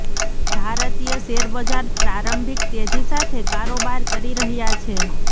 ભારતીય શેરબજાર પ્રારંભિક તેજી સાથે કારોબાર કરી રહ્યા છે